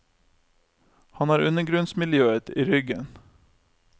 Han har undergrunnsmiljøet i ryggen.